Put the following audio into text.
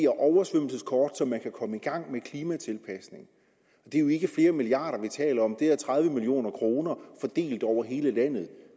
oversvømmelseskort så man kan komme i gang med klimatilpasninger det er jo ikke flere milliarder kroner vi taler om det er tredive million kroner fordelt over hele landet